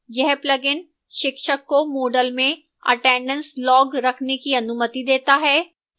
यह plugin शिक्षक को moodle में attendance log रखने की अनुमति देता है